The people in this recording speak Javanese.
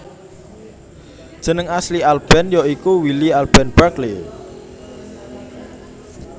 Jeneng asli Alben ya iku Willie Alben Barkley